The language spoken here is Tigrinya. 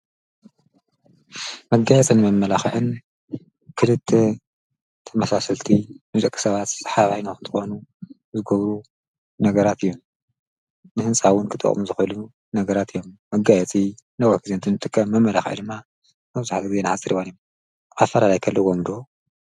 መጋየትን መመላኽዕን ክድት ተመሳስልቲ ምዘቂ ሰባት ሓባይ ንውኽንትኾኑ ዝጐብሩ ነገራት እዩም ንሕንሳውን ክጥኦም ዝኸሉ ነገራት እዮም መጋየቲ ነውክዜንትን ትከ መመላኽዒ ድማ መብዙሓጐጐይ ነዓጽሪዋን እዮም ዓፈልላይከለ ወምዶ።